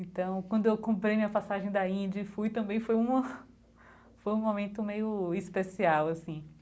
Então, quando eu comprei minha passagem da Índia e fui, também foi uma foi um momento meio especial, assim.